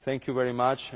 Thank you very much.